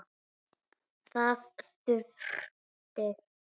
Þar þurfti